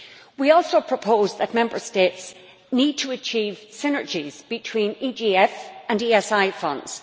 We also propose that Member States need to achieve synergies between EGF and ESI funds.